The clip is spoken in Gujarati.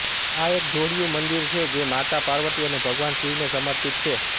આ એક જોડિયું મંદિર છે જે માતા પાર્વતી અને ભગવાન શિવને સમર્પિત છે